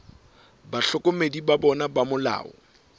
bahlokomedi ba bona ba molao